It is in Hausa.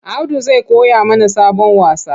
Audu zai koya mana sabon wasa.